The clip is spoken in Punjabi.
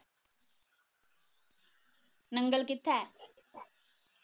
ਨੰਗਲ ਕਿੱਥੇ?